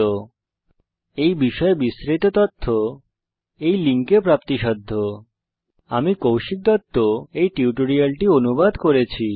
এই বিষয় বিস্তারিত তথ্য এই লিঙ্কে প্রাপ্তিসাধ্য spoken hyphen tutorial dot org slash ন্মেইক্ট হাইফেন ইন্ট্রো আমি কৌশিক দত্ত এই টিউটোরিয়ালটি অনুবাদ করেছি